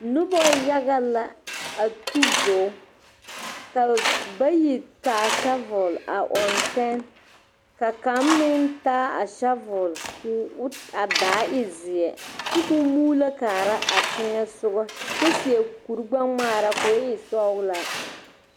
Noba yaga la a tu bogi ka bayi taa shovel a ɔŋ tɛne ka kaŋa meŋ taa a shovel ka o ka a daa e zeɛ kyɛ ka o muulo kaara a teŋɛ soga kyɛ seɛ kurigbɛ ŋmaara ka o e sɔglaa.